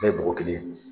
Bɛɛ ye bɔgɔ kelen ye